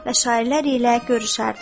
və şairlər ilə görüşərdi.